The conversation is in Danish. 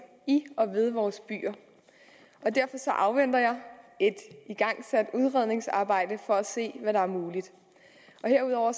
i og ved vores byer og derfor afventer jeg et igangsat udredningsarbejde for at se hvad der er muligt herudover